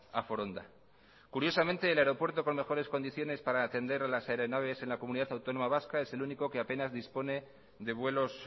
a foronda curiosamente el aeropuerto con mejores condiciones para atender a las aeronaves en la comunidad autónoma vasca es el único que apenas dispone de vuelos